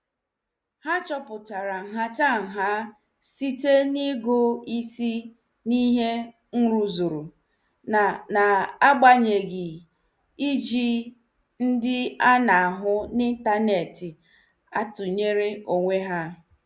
Ha chọpụtara nhataha site n' ịgụ isi n' ihe nruzuru, n' n'agbanyeghị iji ndị ana- ahụ n' intaneti atunyere onwe ha.